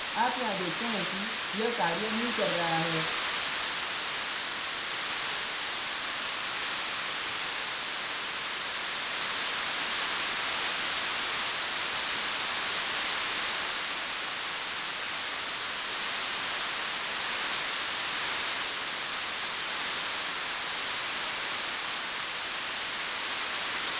आप यहाँ देखते हैं कि यह कार्य नहीं कर रहा है